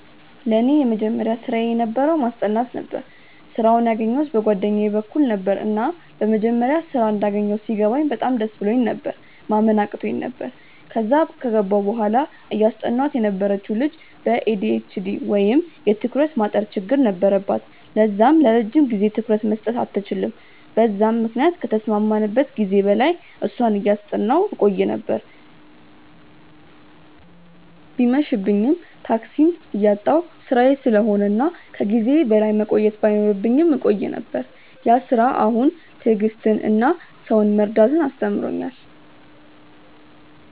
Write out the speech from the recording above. ለኔ የመጀመሪያ ስራየ የነበረው ማስጠናት ነበረ። ስራውን ያገኘዉት በ ጓደኛየ በኩል ነበረ፤ እና መጀመሪያ ስራ እንዳገኘው ሲገባኝ በጣም ደስ ብሎኝ ነበር፤ ማመን አቅቶኝ ነበር፤ ከዛም ከገባው በኋላ እያስጠናዋት የነበረችው ልጅ በ ኤ.ዲ.ኤ.ች.ዲ ወይም የ ትኩረት ማጠር ችግር ነበረባት ለዛም ለረጅም ጊዜ ትኩረት መስጠት አትችልም በዛም ምክንያት ከተስማማንበት ጊዜ በላይ እሷን እያጠናው ቆይ ነበር፤ እየመብኝም፤ ታክሲም እያጣው ስራዬ ስለሆነ እና ከ ጊዜዬ በላይ መቆየት ባይኖርብኝም እቆይ ነበር፤ ያ ስራ አሁን ትዕግስትን እና ሰውን መረዳትን አስተምሮኛል።